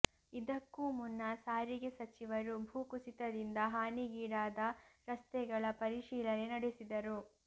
ಇದಕ್ಕೂ ಮುನ್ನ ಸಾರಿಗೆ ಸಚಿವರು ಭೂ ಕುಸಿತದಿಂದ ಹಾನಿಗೀಡಾದ ರಸ್ತೆಗಳ ಪರಿಶೀಲನೆ ನಡೆಸಿದರು